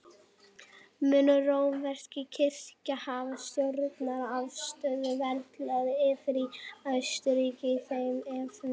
Mun rómverska kirkjan hafa stjórnað afstöðu veraldlegra yfirvalda í Austurríki í þeim efnum.